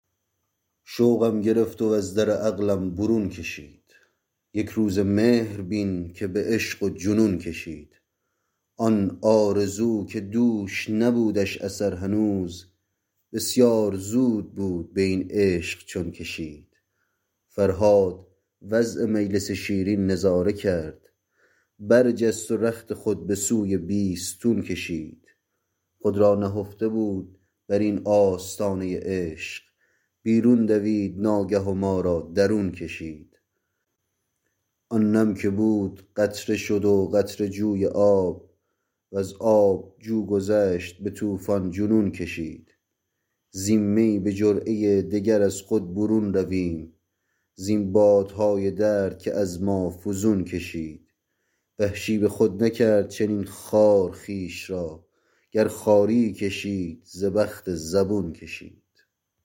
شوقم گرفت و از در عقلم برون کشید یکروزه مهر بین که به عشق و جنون کشید آن آرزو که دوش نبودش اثر هنوز بسیار زود بود به این عشق چون کشید فرهاد وضع مجلس شیرین نظاره کرد برجست و رخت خود به سوی بیستون کشید خود را نهفته بود بر این آستانه عشق بیرون دوید ناگه و مارا درون کشید آن نم که بود قطره شد و قطره جوی آب وز آب جو گذشت به توفان جنون کشید زین می به جرعه دگر از خود برون رویم زین بادهای درد که از ما فزون کشید وحشی به خود نکرد چنین خوار خویش را گر خواریی کشید ز بخت زبون کشید